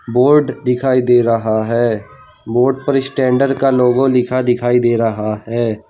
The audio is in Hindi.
बोर्ड दिखाई दे रहा है बोर्ड पर स्टैंडर्ड का लोगो लिखा दिखाई दे रहा है।